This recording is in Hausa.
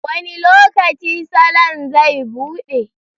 Wani lokaci salon zai buɗe?